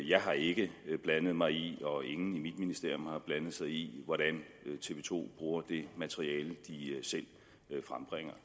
jeg har ikke blandet mig i og ingen i mit ministerium har blandet sig i hvordan tv to bruger det materiale de selv frembringer